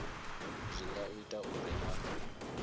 zwi nga ita uri a